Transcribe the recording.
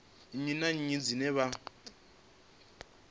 nnyi na nnyi dzine vha